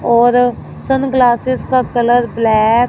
और सनग्लासेस का colour black --